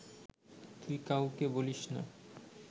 তুই কাউকে বলিস না